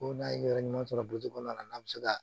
Ko n'a ye yɔrɔ ɲuman sɔrɔ kɔnɔna na n'a bɛ se ka